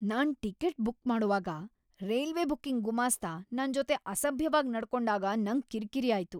ನಾನ್ ticket book ಮಾಡೋವಾಗ railway booking ಗುಮಾಸ್ತ ನನ್ ಜೊತೆ ಅಸಭ್ಯವಾಗ್ ನಡ್ಕೊಂಡಾಗ ನಂಗ್ ಕಿರ್ಕಿರಿ ಆಯ್ತು.